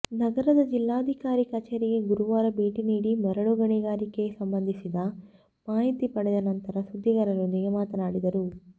ನಗರದ ಜಿಲ್ಲಾಧಿಕಾರಿ ಕಚೇರಿಗೆ ಗುರುವಾರ ಭೇಟಿ ನೀಡಿ ಮರಳು ಗಣಿಗಾರಿಕೆಗೆ ಸಂಬಂಧಿಸಿದ ಮಾಹಿತಿ ಪಡೆದ ನಂತರ ಸುದ್ದಿಗಾರರೊಂದಿಗೆ ಮಾತನಾಡಿದರು